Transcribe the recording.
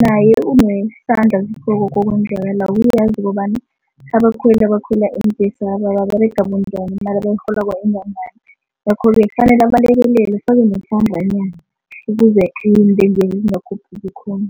naye unesandla okwenzekalako. Uyazi ukobana abakhweli abakhwela iimbhesaba baberega bunjani, imali abayirholako ingangani ngakho-ke kufanele nesandlanyana ukuze zingakhuphuki khulu